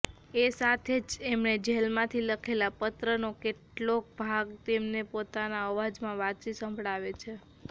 એ સાથે જ એમણે જેલમાંથી લખેલા પત્રનો કેટલોક ભાગ એમના પોતાના અવાજમાં વાંચી સંભળાવે છે